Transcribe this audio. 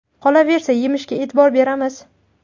Qolaversa, yemishiga e’tibor beramiz.